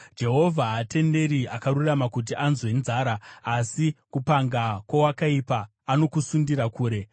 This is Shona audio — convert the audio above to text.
Jehovha haatenderi akarurama kuti anzwe nzara, asi kupanga kwowakaipa anokusundira kure.